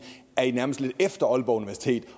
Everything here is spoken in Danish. er i nærmest lidt efter aalborg universitet